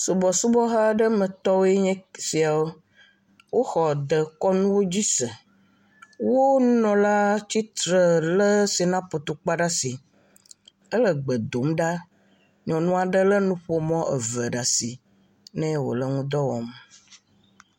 Subɔsubɔmetɔ aɖewoe nye esiawo, woxɔ dekɔnu dzi se, woƒe nunɔla le tsitre le sinapu takpa ɖe asi, ele gbe dom ɖa, nyɔnu aɖe lé nuƒomɔ ɖe asi nɛ wole nu ƒom.